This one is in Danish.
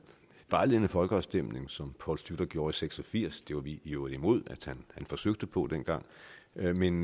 vejledende folkeafstemning som poul schlüter gjorde seks og firs det var vi i øvrigt imod at han forsøgte på dengang men